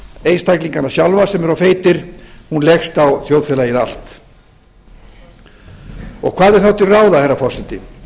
einstaklingana sjálfa sem eru of feitir hún leggst á þjóðfélagið allt hvað er þá til ráða herra forseti